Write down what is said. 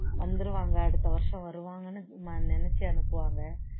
வந்துருவாங்க அடுத்த வருஷம் வருவாங்கன்னு நினைச்சு அனுப்புவாங்க